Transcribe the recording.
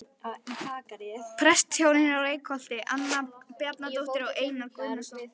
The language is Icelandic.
Prestshjónin í Reykholti- Anna Bjarnadóttir og Einar Guðnason.